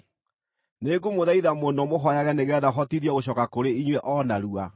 Nĩngũmũthaitha mũno mũhooyage nĩgeetha hotithio gũcooka kũrĩ inyuĩ o narua.